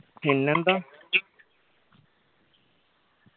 പിന്നെന്താ